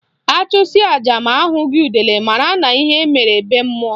Achụsịa aja ma ahụghị udele mara na ihe mere be mmụọ